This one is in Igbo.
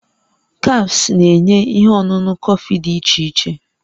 Cafes na-enye ihe ọṅụṅụ kọfị dị iche iche